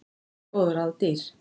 Nú voru góð ráð dýr